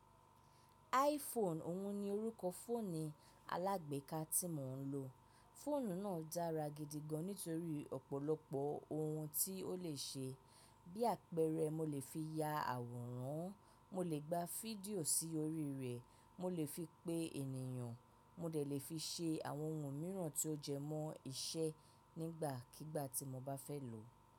iPhone òun ni orúkọ fóònù alágbéka tí mò ń lò. Fóònù náà dára gidi gan nítorí ọ̀pọ̀lọpọ̀ ohun tí ó lè ṣe. Bí àpẹẹrẹ, mo lè fi ya àwòrán, mo lè gba fídíò sí orí rẹ̀, mo lè fi pé ènìyàn, mo dè lè fi ṣe àwọn ohun mìíràn tí ó jẹ mọ́ iṣẹ́ nígbàkígbà tí mo bá fẹ́ lò ó.